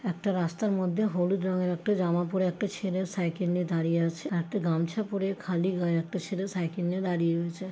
একটা রাস্তার মধ্যে হলুদ রংয়ের একটা জামা পরে একটা ছেলের সাইকেল নিয়ে দাঁড়িয়ে আছে। একটা গামছা পড়ে খালি গায়ে একটা ছেলে সাইকেল নিয়ে দাঁড়িয়ে রয়েছে।